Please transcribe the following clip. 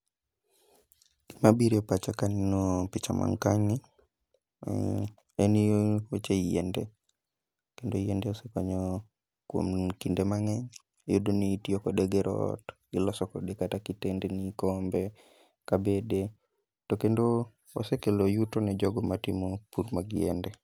Gima bire pacha kaneno picha man kae ni, en weche yiende. Kendo yiende osekonyo kuom kinde mang'eny. Iyudo ni itiyo kode gero ot, gi loso kode kata kitendni, kombe, kabede. To kendo osekelo yuto ne jogo matimo pur mag yiende.